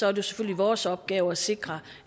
er det selvfølgelig vores opgave at sikre